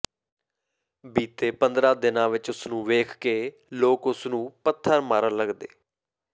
ਬੀਤੇ ਪੰਦਰਾਂ ਦਿਨਾਂ ਵਿੱਚ ਉਸਨੂੰ ਵੇਖਕੇ ਲੋਕ ਉਸਨੂ ਪੱਥਰ ਮਾਰਨ ਲੱਗਦੇ